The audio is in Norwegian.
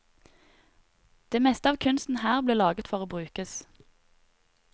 Det meste av kunsten her ble laget for å brukes.